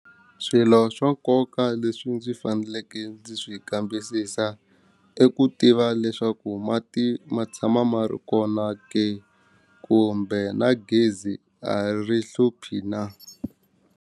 Swilo swa nkoka leswi ndzi faneleke ndzi swi kambisisa i ku tiva leswaku mati ma tshama ma ri kona ke kumbe na gezi a ri hluphi na.